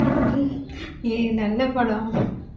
ஏய் நல்ல படம்